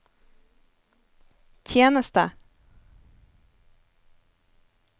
tjeneste